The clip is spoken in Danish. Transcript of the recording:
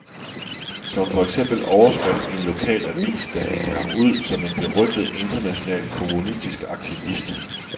Som for eksempel overskrift i en lokal avis, der hængte ham ud som en berygtet international kommunistisk aktivist.